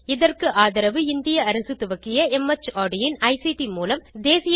இதற்கு ஆதரவு இந்திய அரசு துவக்கிய மார்ட் இன் ஐசிடி மூலம் தேசிய கல்வித்திட்டத்தின் வழியே கிடைக்கிறது